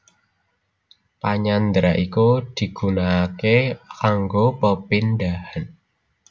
Panyandra iku digunaaké kanggo pepindhan